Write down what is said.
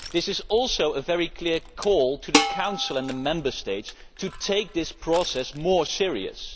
This is also a very clear call to the Council and the Member States to take this process more seriously.